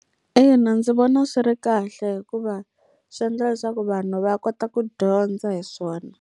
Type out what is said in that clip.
Ina, ndzi vona swi ri kahle hikuva swi endla leswaku vanhu va kota ku dyondza hi swona.